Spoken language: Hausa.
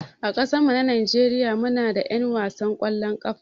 A ƙasan mu Nijeriya muna da 'yan wasan kwallon ƙafa